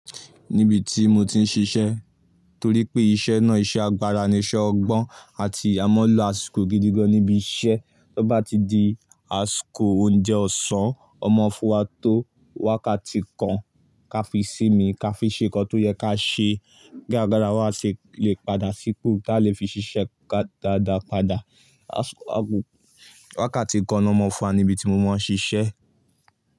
Níbi tí mo ti ń ṣiṣẹ́ torí pé iṣẹ́ náà iṣẹ́ agbára ni, iṣẹ́ ọgbọ́n àti àmọ́ lo àsìkò gidi gan níbi iṣẹ́. Tó bá ti di àsìkò oúnjẹ ọ̀sán, ọ mọ fún wa tó wákàtí kan kí a fi sí mi, kí a fi ṣe kàn tó yẹ ka ṣe. Kí ágbará wà ṣè lè padà sípò ka lè fi ṣiṣẹ́ dáadáa padà. Wákàtí kàn lọ mọ fún wa níbi tí mo máa ń ṣiṣẹ́.